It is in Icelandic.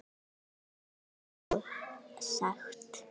En hún gat sko sagt.